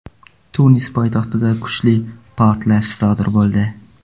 Tunis poytaxtida kuchli portlash sodir bo‘ldi .